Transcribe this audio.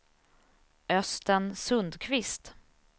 Östen Sundkvist